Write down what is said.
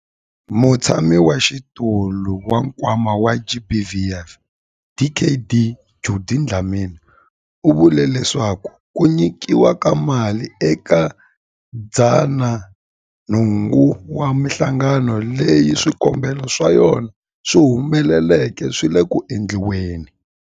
Mutshamaxitulu wa Nkwama wa GBVF, Dkd Judy Dlamini, u vule leswaku ku nyikiwa ka mali eka 108 wa mihlangano leyi swikombelo swa yona swi humeleleke swi le ku endliweni.